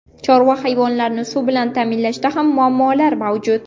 Chorva hayvonlarini suv bilan ta’minlashda ham muammolar mavjud.